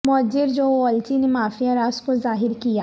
موجر جو والچی نے مافیا راز کو ظاہر کیا